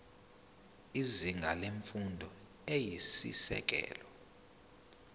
izinga lemfundo eyisisekelo